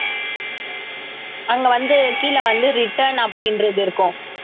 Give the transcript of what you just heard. அங்க வந்து கீழ வந்து return அப்படின்றது இருக்கும்